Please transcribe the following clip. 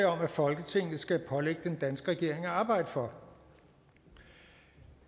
om at folketinget skal pålægge den danske regering at arbejde for